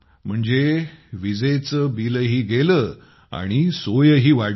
म्हणजे वीजेचे बिलही गेले आणि सोयही वाढली